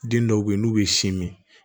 Den dɔw bɛ yen n'u bɛ sin min